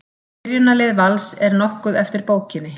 Byrjunarlið Vals er nokkuð eftir bókinni.